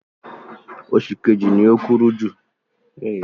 Ọjọ́ kẹrìnlá, oṣù Èrèlé ni àyájọ́ olólùfẹ́.